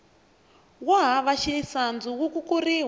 wo hava xisandzu wu kukuriwa